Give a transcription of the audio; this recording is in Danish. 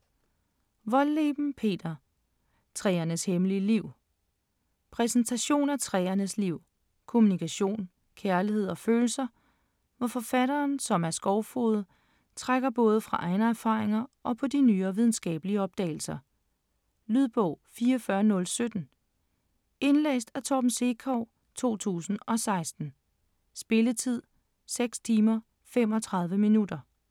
Wohlleben, Peter: Træernes hemmelige liv Præsentation af træernes liv, kommunikation, kærlighed og følelser, hvor forfatteren, som er skovfoged, trækker både på egne erfaringer og på de nyere videnskabelige opdagelser. Lydbog 44017 Indlæst af Torben Sekov, 2016. Spilletid: 6 timer, 35 minutter.